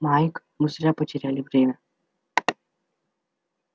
майк мы зря потеряли время